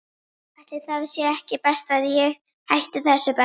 Ætli það sé ekki best að ég hætti þessu bara.